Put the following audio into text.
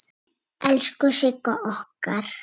Elsku Sigga okkar.